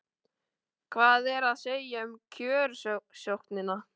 Hvað er að segja um kjörsóknina?